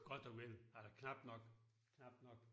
Godt og vel. Eller knapt nok knapt nok